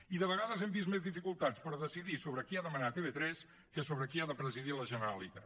i de vegades hem vist més dificultats per decidir sobre qui ha de manar a tv3 que sobre qui ha de presidir la generalitat